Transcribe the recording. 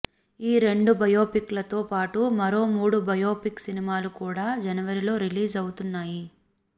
ఈ రెండు బయోపిక్ లతో పాటు మరో మూడు బయోపిక్ సినిమాలు కూడా జనవరిలో రిలీజ్ అవుతున్నాయి